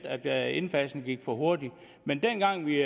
at indfasningen gik for hurtigt men dengang vi